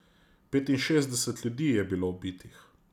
Petinšestdeset ljudi je bilo ubitih.